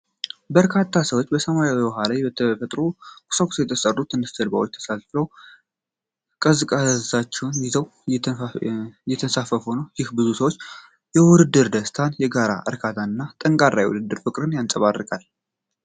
በርካታ ሰዎች በሰማያዊ ውሃ ላይ በተፈጥሮ ቁሳቁስ በተሠሩ ትናንሽ ጀልባዎች ተሳፍረው ቀዛፊዎችን ይዘው እየተንሳፈፉ ነው። ይህ የብዙ ሰዎች ውድድር ደስታን፣ የጋራ እርካታን እና ጠንካራ የውድድር ፍቅርን ያንጸባርቃል።